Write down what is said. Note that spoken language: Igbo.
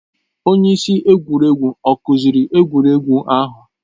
Onye isi egwuregwu ọ kụziri egwuregwu ahụ?